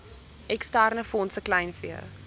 eksterne fondse kleinvee